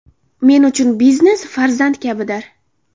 Men uchun biznes farzand kabidir.